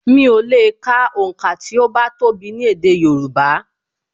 Mi ò lè ka onka ti o bá tó bi ni èdè Yorùbá